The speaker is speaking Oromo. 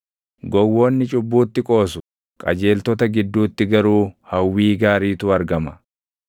Gowwoonni cubbuutti qoosu; qajeeltota gidduutti garuu hawwii gaariitu argama.